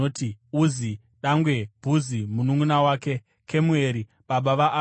Uzi dangwe, Bhuzi mununʼuna wake, Kemueri (baba vaAramu),